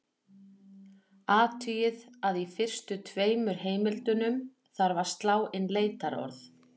Athugið að í fyrstu tveimur heimildunum þarf að slá inn leitarorð.